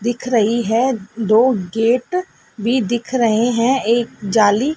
दिख रही है दो गेट भी दिख रहे हैं एक जाली--